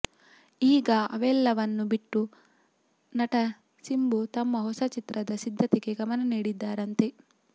ಈಗ ಅವೆಲ್ಲವನ್ನು ಬಿಟ್ಟು ನಟ ಸಿಂಬು ತಮ್ಮ ಹೊಸ ಚಿತ್ರದ ಸಿದ್ಧತೆಗೆ ಗಮನ ನೀಡಿದ್ದಾರಂತೆ